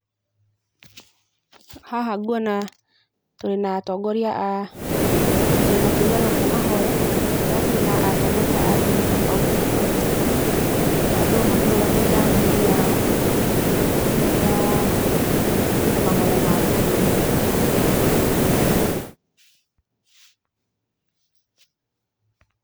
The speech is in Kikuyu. Haha ngwona tũrĩ na atongoria a, tũrĩ na kĩũngano kĩa mahoya, harĩa tũrĩ na atongoria a ndini tobauti tobauti. O andũ makĩrũgamĩrĩra ndini yao, kũrĩa kurĩ na mahoya ma bũrũri.